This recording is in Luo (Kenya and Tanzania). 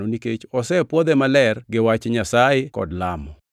nikech osepwodhe maler gi wach Nyasaye kod lamo.